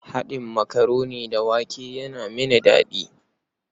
Haɗin makaroni da shinkafa yana mini daɗi.